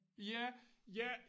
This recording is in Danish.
Ja ja